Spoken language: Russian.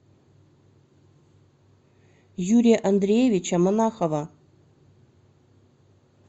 юрия андреевича монахова